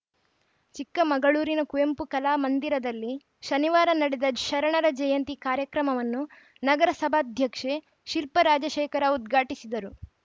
ಚಿಕ್ಕಮಗಳೂರಿನ ಕುವೆಂಪು ಕಲಾ ಮಂದಿರದಲ್ಲಿ ಶನಿವಾರ ನಡೆದ ಶರಣರ ಜಯಂತಿ ಕಾರ್ಯಕ್ರಮವನ್ನು ನಗರಸಭಾಧ್ಯಕ್ಷೆ ಶಿಲ್ಪಾ ರಾಜಶೇಖರ್‌ ಉದ್ಘಾಟಿಸಿದರು